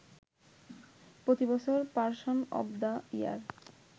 প্রতিবছর person of the year